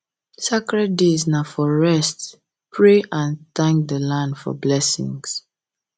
sacred days na for rest pray and pray and thank the land for blessings